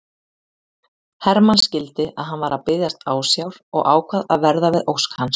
Hermann skildi að hann var að biðjast ásjár og ákvað að verða við ósk hans.